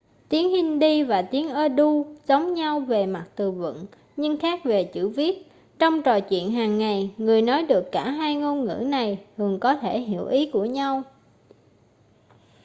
tiếng hindi và tiếng urdu giống nhau về mặt từ vựng nhưng khác về chữ viết trong trò chuyện hàng ngày người nói được cả hai ngôn ngữ này thường có thể hiểu ý của nhau